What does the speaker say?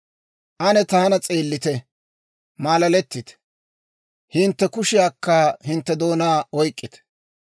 Ane taana s'eellite; malaletite; hintte kushiyankka hintte doonaa oyk'k'ite.